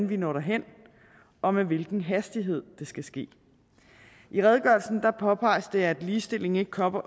vi når derhen og med hvilken hastighed det skal ske i redegørelsen påpeges det at ligestilling ikke kommer